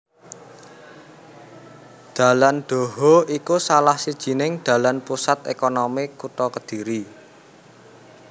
Dalan Dhoho iku salah sajining dalan pusat ékonomi kutha Kediri